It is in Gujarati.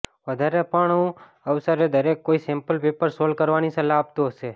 વધારે પણું અવસરે દરેક કોઈ સેંપલ પેપર સોલ્વ કરવાની સલાહ આપતું હશે